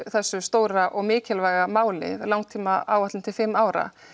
þessu stóra og mikilvæga máli langtímaáætlun til fimm ára